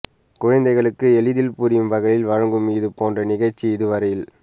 குழந்தைகளுக்கு எளிதில் புரியும் வகையில் வழங்கும் இது போன்ற நிகழ்ச்சி இதுவரையில்